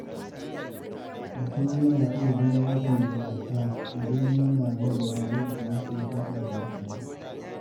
Mutum zai iya zama mafi nagarta idan yana nazarin yadda yake hulɗa da mutane.